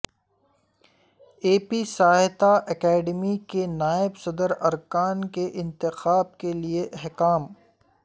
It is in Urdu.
اے پی ساہیتہ اکیڈیمی کے نائب صدر ارکان کے انتخاب کے لئے احکام